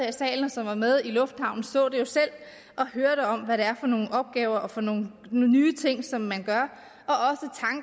i salen og som var med i lufthavnen så det jo selv og hørte om hvad det er for nogle opgaver og for nogle nye ting som man gør